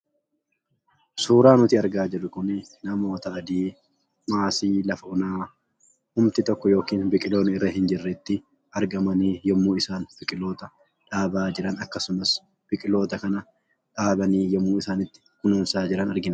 Suuraan nuti argaa jirru kunii namoota adii maasii lafa onaa homti tokko yookiin biqiloonni irra hin jirretti argamanii yeroo isaan biqiloota dhaaban akkasumas biqiloota kana dhaabanii kununsan argina.